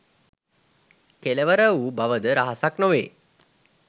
කෙළවර වූ බවද රහසක් නොවේ.